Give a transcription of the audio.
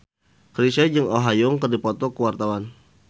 Chrisye jeung Oh Ha Young keur dipoto ku wartawan